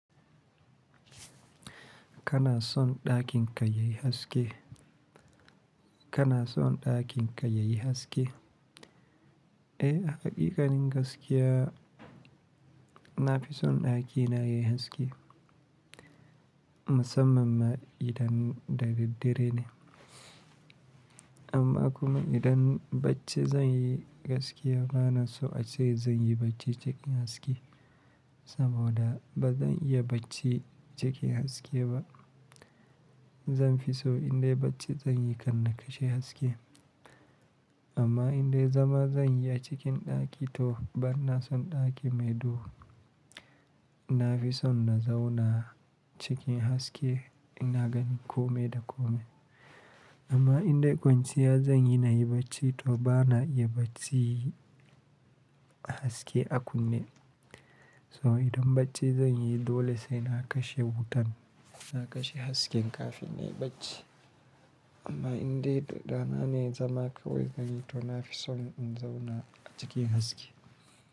Kana son ɗakin ka yayi haske? Kana son ɗakin ka yayi haske? Eh, haƙiƙanin gaskiya, na fi son ɗakina yayi haske, musamman ma idan dare dare ne. Amma kuma idan bacci zan yi gaskiya bana so ace zan yi bacci cikin haske, saboda ba zan iya bacci cikin haske ba. Zan fi so in dai bacci zan yi, kar na kashe haske. Amma in dai zama zan yi a cikin ɗaki to bana son ɗaki mai duhu. Na fi son na zauna cikin haske ina ganin kome da kome. Amma in dai kwanciya zan yi na yi bacci to bana iya bacci a haske a kunne. So idan bacci zan yi dole sai na kashe wutan, na kashe hasken kafin in yi bacci. Amma in dai da rana ne zama kawai zan yi to na fi son in zauna a cikin haske.